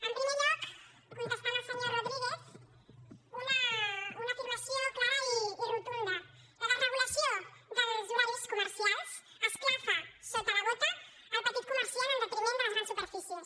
en primer lloc contestant al senyor rodríguez una afirmació clara i rotunda la desregulació dels horaris comercials esclafa sota la bota el petit comerciant en detriment de les grans superfícies